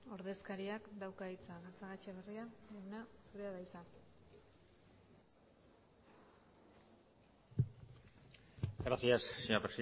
ordezkariak dauka hitza gatzagaetxeberria jauna zurea da hitza gracias señora